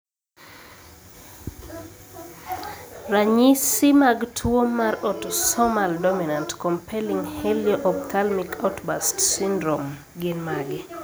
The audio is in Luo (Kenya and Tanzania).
Ranyisi mag tuwo marautosomal dominant compelling helio ophthalmic outburst syndrome gin mage?